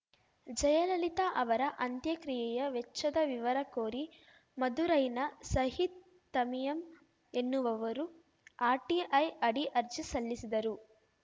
ಜಯಲಲಿತಾ ಅವರ ಅಂತ್ಯಕ್ರಿಯೆಯ ವೆಚ್ಚದ ವಿವರ ಕೋರಿ ಮದುರೈನ ಸಯೀದ್‌ ತಮೀಯಮ್‌ ಎನ್ನುವವರು ಆರ್‌ಟಿಐ ಅಡಿ ಅರ್ಜಿ ಸಲ್ಲಿಸಿದರು